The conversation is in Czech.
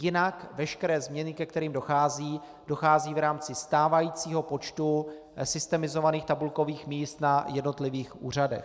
Jinak veškeré změny, ke kterým dochází, dochází v rámci stávajícího počtu systemizovaných tabulkových míst na jednotlivých úřadech.